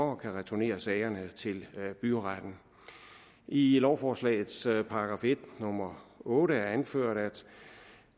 og kan returnere sagerne til byretten i lovforslagets § en nummer otte er anført at